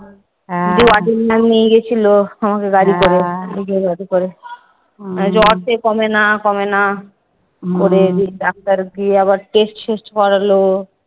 নিয়ে গেছিলো আমাকে গাড়ি করে জ্বর সে কমে না কমে না। দিয়ে ডাক্তার গিয়ে আবার test ফেস্ট করালো।